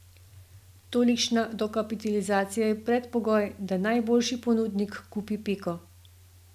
Tolikšna dokapitalizacija je predpogoj, da najboljši ponudnik kupi Peko.